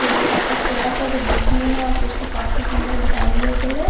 Table काफी छोटा सा जो बीच में कुर्सी काफी सुंदर डिजाइनेबल है।